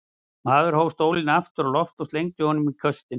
Maðurinn hóf stólinn aftur á loft og slengdi honum í köstinn.